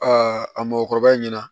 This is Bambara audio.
a mɔkɔrɔba ɲɛna